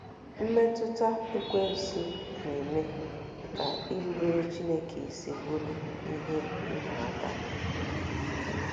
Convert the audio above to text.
Mmetụta Ekwensu na-eme ka irubere Chineke isi bụrụ ihe ịma aka